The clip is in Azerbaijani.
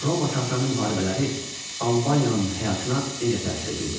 Roma-Sasani müharibələri Albaniyanın həyatına necə təsir edirdi?